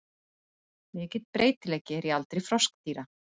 Mikill breytileiki er í aldri froskdýra.